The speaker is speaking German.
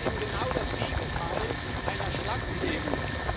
Das ist genau das Gegenteil einer schlanken EU.